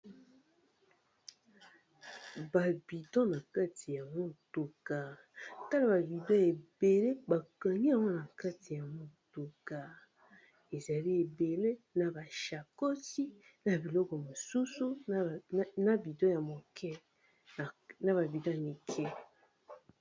Ba bidon na kati ya motuka tala ba bidon ebele bakangi yango na kati ya motuka ezali ebele na ba shakoshi na biloko mosusu na ba bidon ya mike.